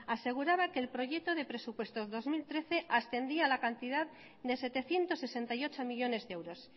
aseguraba que el proyecto de presupuestos dos mil trece ascendía a la cantidad de setecientos sesenta y ocho millónes de euros